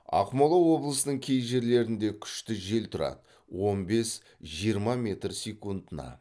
ақмола облысының кей жерлерінде күшті жел тұрады он бес жиырма метр секундына